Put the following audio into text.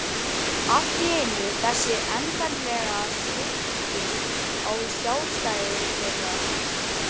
Allt í einu þessi endanlega svipting á sjálfstæði þeirra.